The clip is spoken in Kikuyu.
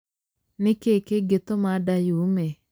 Nĩkĩ kĩngĩ tũma nda yume?